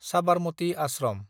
Sabarmati Ashram